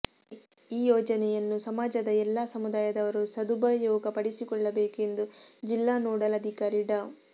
ಈ ಯೋಜನೆಯನ್ನು ಸಮಾಜದ ಎಲ್ಲಾ ಸಮುದಾಯದವರು ಸದುಪಯೋಗಪಡಿಸಿಕೊಳ್ಳಬೇಕು ಎಂದು ಜಿಲ್ಲಾ ನೋಡಲ್ ಅಧಿಕಾರಿ ಡಾ